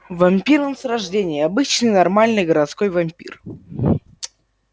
вампир он с рождения обычный нормальный городской вампир